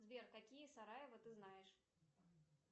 сбер какие сараево ты знаешь